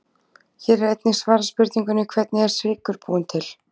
Hér er einnig svarað spurningunni: Hvernig er sykur búinn til?